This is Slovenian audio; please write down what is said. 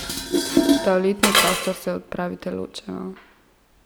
V toaletni prostor se odpravite ločeno.